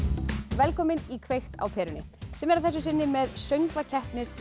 velkomin í kveikt á perunni sem er að þessu sinni með